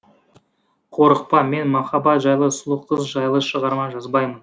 қорықпа мен махаббат жайлы сұлу қыз жайлы шығарма жазбаймын